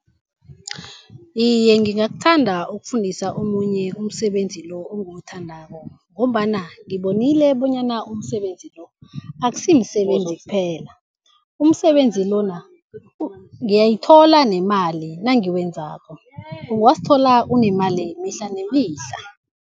Iye, ngingakuthanda ukufundisa omunye umsebenzi lo engiwuthandako, ngombana ngibonile bonyana umsebenzi lo akusimsebenzi kuphela. Umsebenzi lona ngiyayithola nemali nangiwenzako, ungazithola unemali mihla nemihla.